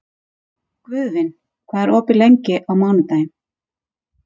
Guðvin, hvað er opið lengi á mánudaginn?